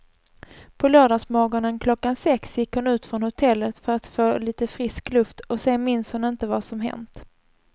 På lördagsmorgonen klockan sex gick hon ut från hotellet för att få lite frisk luft och sen minns hon inte vad som hänt.